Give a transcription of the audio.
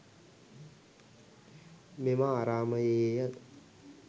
මෙම ආරාමයේ ය.